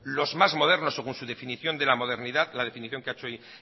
los más modernos según su definición que ha hecho hoy